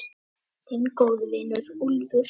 Þinn góði vinur, Úlfur.